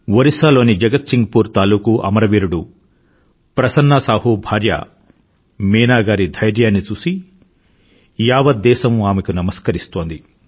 ఒరిస్సా లోని జగత్సింగ్ పూర్ తాలూకు అమరవీరుడు ప్రసన్నా సాహు భార్య మీనా గారి ధైర్యాన్ని చూసి యావత్ దేశం ఆమెకు నమస్కరిస్తోంది